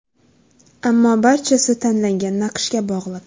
Ammo barchasi tanlangan naqshga bog‘liq.